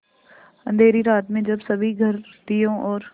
अँधेरी रात में जब सभी घर दियों और